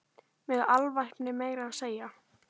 Með alvæpni meira að segja!